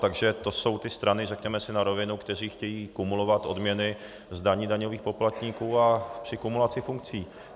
Takže to jsou ty strany, řekněme si na rovinu, které chtějí kumulovat odměny z daní daňových poplatníků a při kumulaci funkcí.